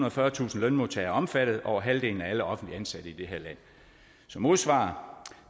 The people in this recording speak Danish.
og fyrretusind lønmodtagere er omfattet er over halvdelen af alle offentligt ansatte i det her land som modsvar